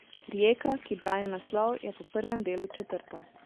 Rijeka, ki brani naslov, je po prvem delu četrta.